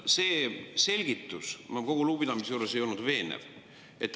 See selgitus, kogu lugupidamise juures, ei olnud veenev.